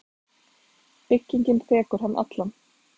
Byggingin þekur hann allan.